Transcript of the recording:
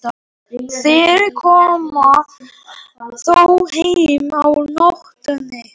Þeir koma þó heim á nóttunni.